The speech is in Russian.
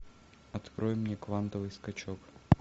открой мне квантовый скачок